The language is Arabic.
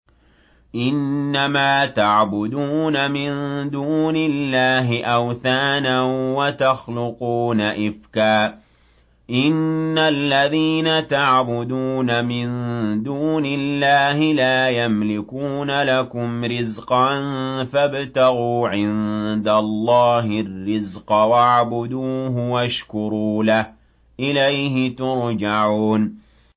إِنَّمَا تَعْبُدُونَ مِن دُونِ اللَّهِ أَوْثَانًا وَتَخْلُقُونَ إِفْكًا ۚ إِنَّ الَّذِينَ تَعْبُدُونَ مِن دُونِ اللَّهِ لَا يَمْلِكُونَ لَكُمْ رِزْقًا فَابْتَغُوا عِندَ اللَّهِ الرِّزْقَ وَاعْبُدُوهُ وَاشْكُرُوا لَهُ ۖ إِلَيْهِ تُرْجَعُونَ